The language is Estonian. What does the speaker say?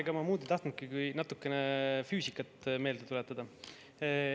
Ega ma muud ei tahtnudki kui natukene füüsikat meelde tuletada.